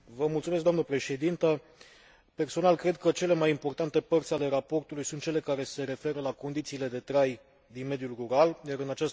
Personal, cred că cele mai importante părți ale raportului sunt cele care se referă la condițiile de trai din mediul rural, iar în această privință doresc să fac câteva observații.